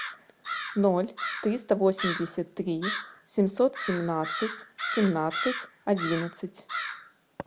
ноль триста восемьдесят три семьсот семнадцать семнадцать одиннадцать